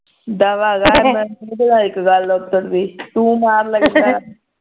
ਦਫਾ ਕਰ ਇਕ ਗੱਲ ਦਸਣ ਦੀ ਤੂੰ ਮਾਰ ਗੱਲਾਂ